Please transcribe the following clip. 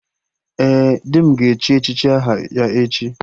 Ee, di m ga-echi echichi aha ya echi